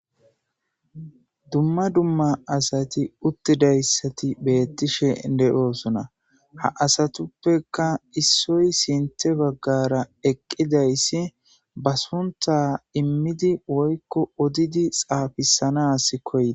Dumma dumma asati uttidayssati beettishe de7oosona ha asatuppeka issoy sinte baggara eqqidayssi ba sunta immidi woykko odidi xaafisanas koyia